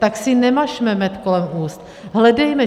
Tak si nemažme med kolem úst, hledejme.